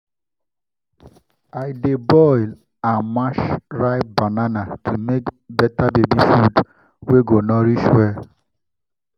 i dey boil and mash ripe banana to make better baby food wey go nourish well.